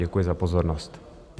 Děkuji za pozornost.